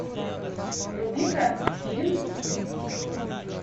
вруби ка фильм